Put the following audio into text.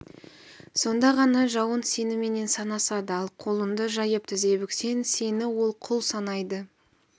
сонда ғана жауың сеніменен санасады ал қолыңды жайып тізе бүксең сені ол құл санайды